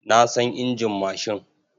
Na san injin mashin.